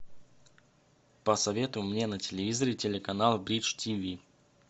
посоветуй мне на телевизоре телеканал бридж тиви